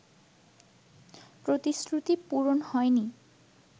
প্রতিশ্রুতি পূরণ হয়নি